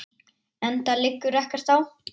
Enda liggur ekkert á.